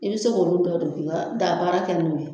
I bɛ se k'olu dɔ don k'i ka daabaara kɛ n'o ye